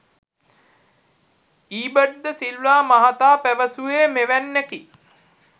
ඊබට් ද සිල්වා මහතා පැවසුවේ මෙවැන්නකි.